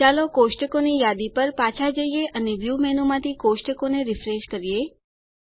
ચાલો કોષ્ટકોની યાદી પર પાછા જઈએ અને વ્યૂ મેનૂમાંથી કોષ્ટકોને રીફ્રેશ કરીએ